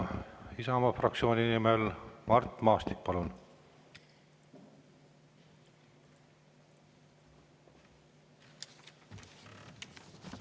Isamaa fraktsiooni nimel Mart Maastik, palun!